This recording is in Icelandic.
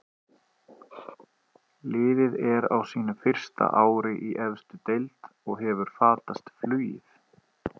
Liðið er á sínu fyrsta ári í efstu deild og hefur fatast flugið.